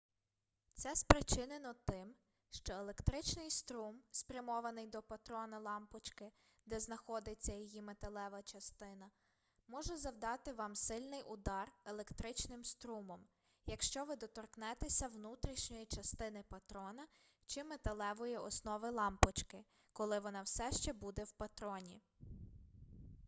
це спричинено тим що електричний струм спрямований до патрона лампочки де знаходиться її металева частина може завдати вам сильний удар електричним струмом якщо ви доторкнетеся внутрішньої частини патрона чи металевої основи лампочки коли вона все ще буде в патроні